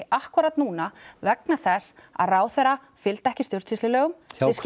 akkúrat núna vegna þess að ráðherra fylgdi ekki stjórnsýslulögum